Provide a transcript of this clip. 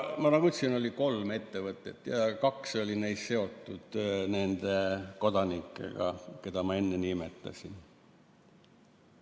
Nagu ma ütlesin, oli kolm ettevõtet ja kaks neist oli seotud nende kodanikega, keda ma enne nimetasin.